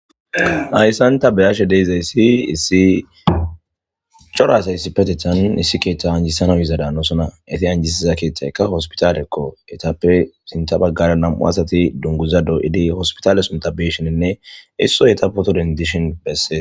ayssan ta beyashe deyzayssi issi corasayssi petethan issi keeththa anjisano iza daannosona eti anjisiza keeththayka hospitalekko etappe sinta baggara nam7u asati dunguza doo7idi hospitale son tabesheninne isso yeta poto dendishon bessee